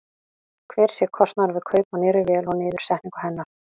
Hver sé kostnaður við kaup á nýrri vél og niðursetningu hennar?